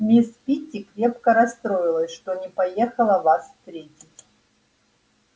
мисс питти крепко расстроилась что не поехала вас встретить